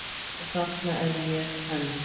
Og þarna er ég enn.